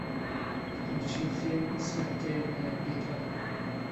включи фильм смертельная битва